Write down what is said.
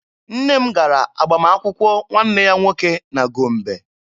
Nne m gara agbamakwụkwọ nwanne ya nwoke na Gombe.